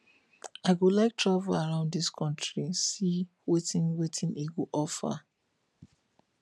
i go like to travel around dis country see wetin wetin e go offer